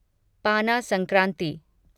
पाना संक्रांति